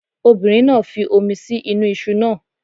Obìnrin náà fi omi sí inú iṣu náà.